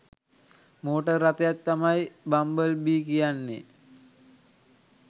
Motor රථයක් තමයි bumble bee කියන්නේ.